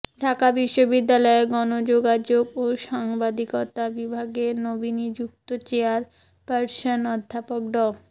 ঢাকা বিশ্ববিদ্যালয়ের গণযোগাযোগ ও সাংবাদিকতা বিভাগের নবনিযুক্ত চেয়ারপারসন অধ্যাপক ড